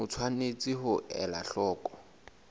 o tshwanetse ho ela hloko